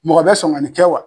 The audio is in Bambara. Mɔgɔ bɛ sɔn ka nin kɛ wa